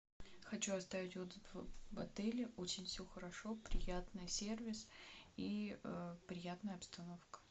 хочу оставить отзыв об отеле очень все хорошо приятный сервис и приятная обстановка